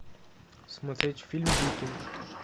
смотреть фильм викинг